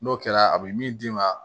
N'o kɛra a bɛ min d'i ma